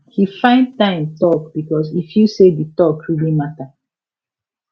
he find time talk because e feel say di talk really matter